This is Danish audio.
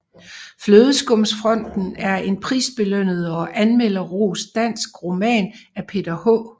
Flødeskumsfronten er en prisbelønnet og anmelderrost dansk roman af Peter H